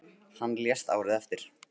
Hann lést árið eftir.